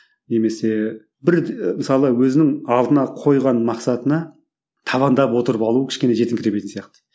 немесе бір мысалы өзінің алдына қойған мақсатына табандап отырып алу кішкене жетіңкіремейтін сияқты